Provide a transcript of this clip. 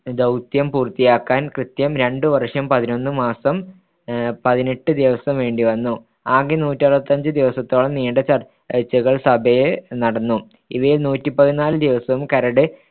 ദൗത്യം പൂർത്തിയാക്കാൻ കൃത്യം രണ്ടു വർഷം പതിനൊന്ന് മാസം പതിനെട്ട് ദിവസം വേണ്ടി വന്നു. ആകെ നൂറ്റിയറുപത്തിയഞ്ച് ദിവസത്തോളം നീണ്ട ചർച്ചകൾ സഭയെ നടന്നു. ഇവയിൽ നൂറ്റിപതിനാൽ ദിവസവും കരട്